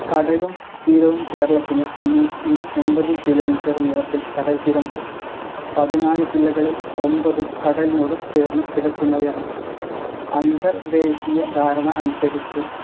കടലും തീരവും കേരളത്തിന് അഞ്ഞൂറ്റി എമ്പത് കിലോമീറ്റർ നീളത്തിൽ കടൽത്തീരമുണ്ട്. പതിനാല് ജില്ലകളിൽ ഒമ്പത്ഉം കടലിനോട് ചേർന്നു കിടക്കുന്നവയാണ്. അന്തർദേശീയധാരണ അനുസരിച്ച്